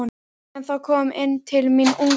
En þá kom inn til mín ungur